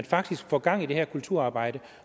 faktisk får gang i det her kulturarbejde